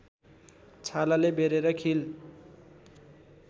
छालाले बेरेर खील